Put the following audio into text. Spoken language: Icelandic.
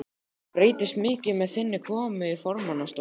Breytist mikið með þinni komu í formannsstólinn?